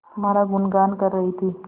तुम्हारा गुनगान कर रही थी